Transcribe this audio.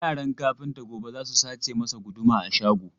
Yaran kafinta gobe za su sace masa guduma a shago.